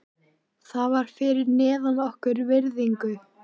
Það var fyrir neðan okkar virðingu.